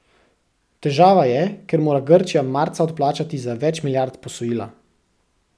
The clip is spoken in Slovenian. Težava je, ker mora Grčija marca odplačati za več milijard posojila.